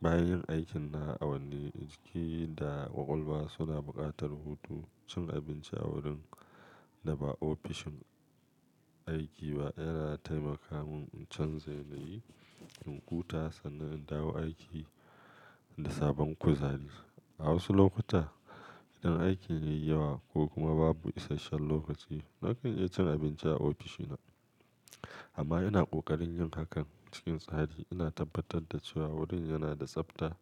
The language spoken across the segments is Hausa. bayan yin aikinna a wanni jiki da ƙwaƙwalwa suna buƙatar hutu. Cin abinci a wurin da ba ofishin aiki ba yana taimaka mun in canza yanayi, in huta sannan in dawo aiki da sabon kuzari. A wasu lokuta, idan aikin ya yi yawa ko kuma babu isasshen lokaci, nakan iya cin abinci a ofishina. Amma ina ƙoƙarin yin hakan cikin tsari. Ina tabbatar da cewa wurin yana da tsabta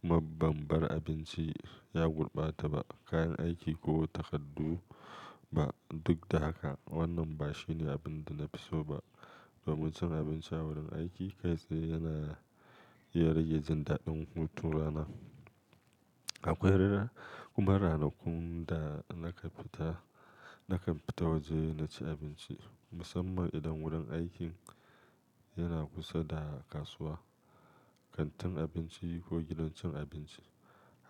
kuma bambar abinci ya gurɓata ba kayan aiki ko takardu ba. Duk da haka, wannan ba shine abin da na fi so ba. Domin cin abinci a wurin aiki kai tsaye yana iya rage jin daɗin hutun rana. Akwai rera kuma ranakun da nakan fita, na kan fita waje na ci abinci. Musamman idan wurin aikin yana kusa da kasuwa, kantin abinci ko gidan cin abinci.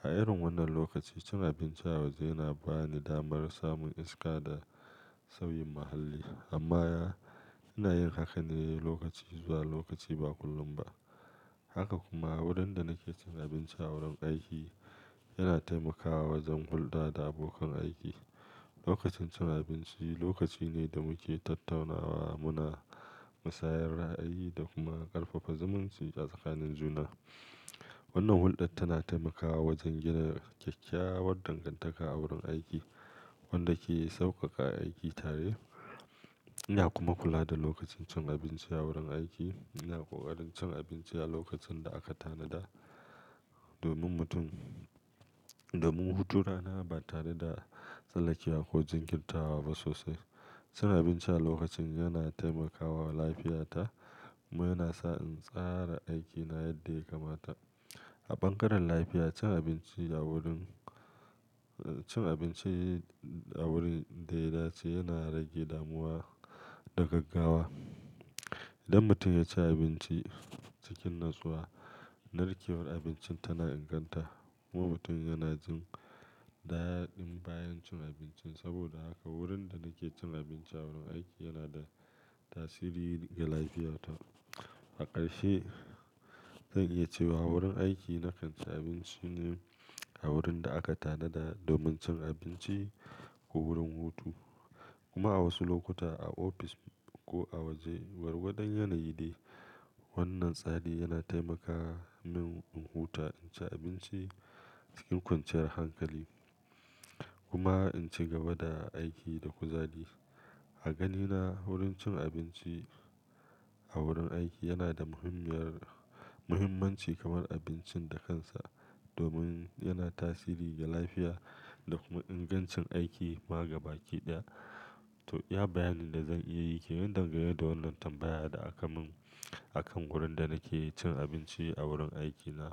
A irin wannan lokaci, cin abinci a waje yana ba ni damar samun iska da sauyin muhalli. Amma ina yin haka ne lokaci zuwa lokaci ba kullum ba. Haka kuma wurin da nake cin abinci a wurin aiki yana taimakawa wajen hulɗa da abokan aiki. Lokacin cin abinci lokaci ne da muke tattaunawa muna musayar ra'ayi da kuma ƙarfafa zumunci a tsakanin juna. Wannan hulɗar tana taimakawa wajen gina kyakkyawar dangantaka a wurin aiki wanda ke sauƙaƙa aiki tare. Ina kuma kula da lokacin cin abinci a wurin aiki. Ina ƙoƙarin cin abinci a lokacin da aka tanada domin mutum-- domin hutun rana ba tare da tsallakewa ko jinkirtawa ba sosai. Cin abinci a lokacin yana taimakawa lafiyata kuma yana sa in tsara aikina yadda ya kamata. A bangaren lafiya, cin abinci a wurin, cin abinci a wurin da ya dace yana rage damuwa da gaggawa. Idan mutum ya ci abinci cikin natsuwa, narkewar abincin tana inganta kuma mutum yana jin daɗin bayan cin abincin. Saboda haka wurin da nake cin abinci a wurin aiki yana da tasiri ga lafiyata. A ƙarshe, zan iya cewa wurin aiki na kan ci abinci ne a wurin da aka tanada domin cin abinci ko wurin hutu kuma a wasu lokuta a ofis ko a waje, gwargwadon yanayi de. Wannan tsari yana taimaka mun in huta, in ci abinci cikin kwanciyar hankali kuma in ci gaba da aiki da kuzari. A ganina wurin cin abinci a wurin aiki yana da muhimmiyar-- muhimmanci kamar abincin da kansa domin yana tasiri ga lafiya da kuma ingancin aiki ma gaba kiɗaya. To, iya bayanin da zan iya yi ke. Nan dangane da wannan tambaya da aka mun akan wurin da nake cin abinci a wurin aikina.